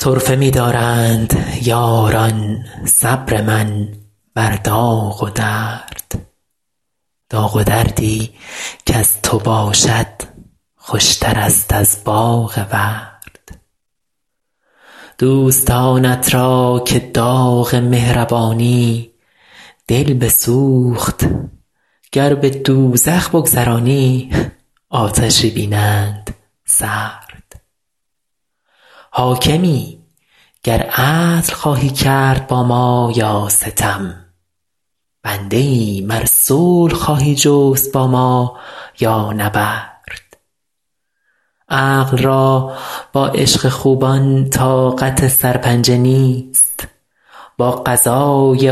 طرفه می دارند یاران صبر من بر داغ و درد داغ و دردی کز تو باشد خوشترست از باغ ورد دوستانت را که داغ مهربانی دل بسوخت گر به دوزخ بگذرانی آتشی بینند سرد حاکمی گر عدل خواهی کرد با ما یا ستم بنده ایم ار صلح خواهی جست با ما یا نبرد عقل را با عشق خوبان طاقت سرپنجه نیست با قضای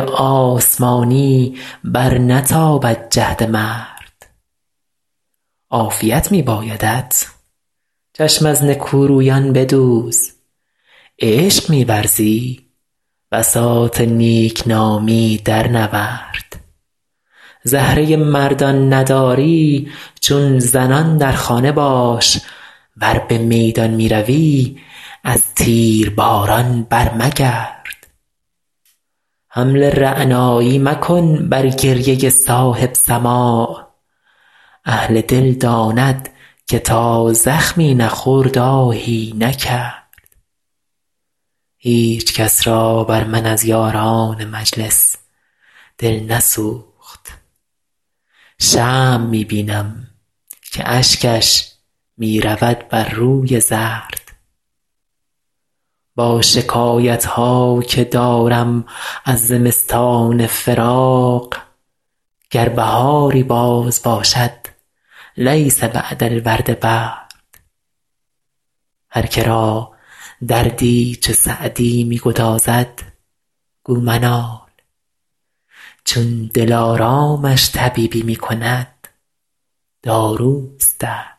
آسمانی برنتابد جهد مرد عافیت می بایدت چشم از نکورویان بدوز عشق می ورزی بساط نیک نامی درنورد زهره مردان نداری چون زنان در خانه باش ور به میدان می روی از تیرباران برمگرد حمل رعنایی مکن بر گریه صاحب سماع اهل دل داند که تا زخمی نخورد آهی نکرد هیچ کس را بر من از یاران مجلس دل نسوخت شمع می بینم که اشکش می رود بر روی زرد با شکایت ها که دارم از زمستان فراق گر بهاری باز باشد لیس بعد الورد برد هر که را دردی چو سعدی می گدازد گو منال چون دلارامش طبیبی می کند داروست درد